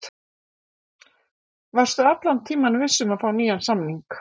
Varstu allan tímann viss um að fá nýjan samning?